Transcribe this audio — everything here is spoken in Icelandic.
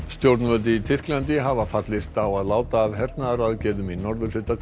stjórnvöld í Tyrklandi hafa fallist á að láta af hernaðaraðgerðum í norðurhluta